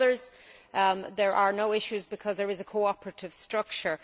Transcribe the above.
For others there are no issues because there is a cooperative structure.